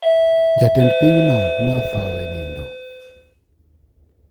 Jatend piny no ne otho e nindo